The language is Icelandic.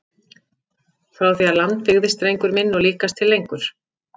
Frá því að land byggðist drengur minn og líkast til lengur!